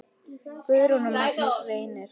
Guðrún og Magnús Reynir.